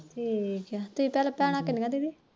ਠੀਕੇ